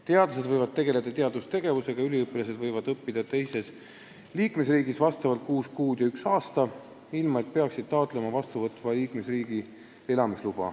Teadlased võivad teha teadustööd ja üliõpilased võivad õppida teises liikmesriigis kuus kuud ja üks aasta, ilma et peaksid taotlema vastuvõtva liikmesriigi elamisluba.